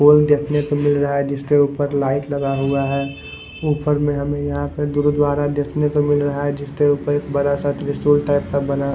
पोल देखने को मिल रहा है जिसके ऊपर लाइट लगा हुआ है ऊपर में हमें यहां पे गुरुद्वारा देखने को मिल रहा है जिसके ऊपर एक बड़ा सा त्रिशूल टाइप का बना--